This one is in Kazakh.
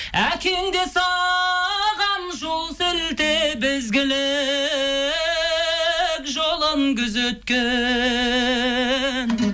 әкең де саған жол сілтеп ізгілік жолын күзеткен